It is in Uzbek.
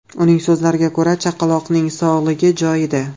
Uning so‘zlariga ko‘ra, chaqaloqning sog‘lig‘i joyida.